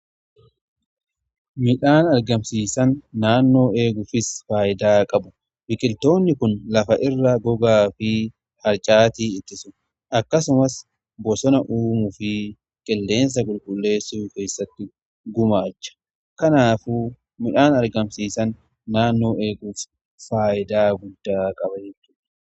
Midhaan argamsiisan naannoo eeguufis faayidaa qabu biqiltoonni kun lafa irraa gogaa fi harcaati ittisu akkasumas bosona uumuu fi qilleensa qulqulleessuu keessatti gumaacha. Kanaaf midhaan argamsiisan naannoo eeguuf faayidaa guddaa qaba.